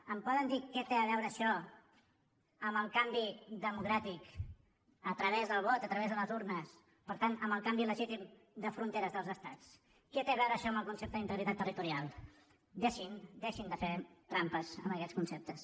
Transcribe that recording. em poden dir què té a veure això amb el canvi democràtic a través del vot a través de les urnes per tant amb el canvi legítim de fronteres dels estats què té a veure això amb el concepte d’integritat territorial deixin deixin de fer trampes amb aquests conceptes